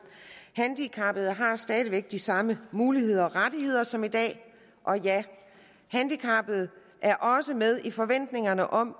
handicappede har stadig væk de samme muligheder og rettigheder som i dag og handicappede er også med i forventningerne om